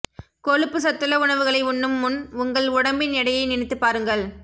கொழுப்பு சத்துள்ள உணவுகளை உண்ணும் முன் உங்கள் உடம்பின் எடையை நினைத்து பாருங்கள்